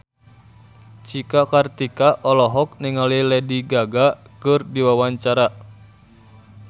Cika Kartika olohok ningali Lady Gaga keur diwawancara